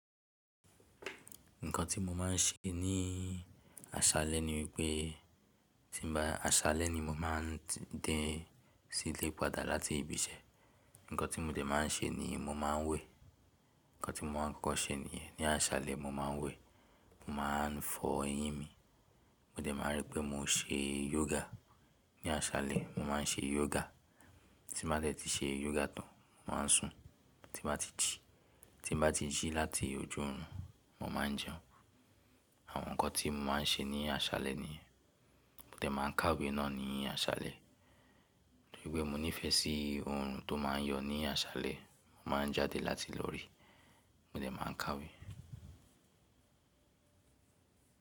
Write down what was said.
Nǹkan tí mo máa ń ṣe ní àṣálẹ́ ni wípé tí bá, àṣálẹ́ ni mo máa ń dé sí ilé padà láti ibi iṣẹ́. Nǹkan tí mo dẹ̀ máa ń ṣe ni mo máa ń wẹ̀. Nǹkan tí mo máa ń kọ́kọ́ ṣe níyẹn. Ni àṣálẹ́ mo máa ń wẹ̀, mo máa ń fọ eyín mi. Mo dẹ̀ máa rí pé mo ṣe yoga. Ni àṣálẹ́ mo má a ń ṣe yoga. Tí màá dẹ̀ ti ṣe yoga tán, mo máa ń sùn, tí màá ti jì. Tí n bàá ti jí láti ojú irun, mo máa ń jẹun. Àwọn nǹkan tí mo máa ń ṣe ní àṣálẹ́ níyẹn. Mo dẹ̀ máa ń kàwé náà ni àṣálẹ́. Nítorí pé mo nífẹ̀ẹ́ sí ohun tó máa ń yọ ní àṣálẹ́, mo máa ń jáde láti lórí, mo dẹ̀ máa ń kàwé.